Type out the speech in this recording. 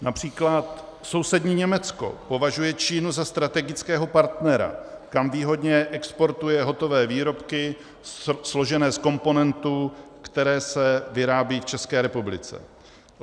Například sousední Německo považuje Čínu za strategického partnera, kam výhodně exportuje hotové výrobky složené z komponentů, které se vyrábí v České republice.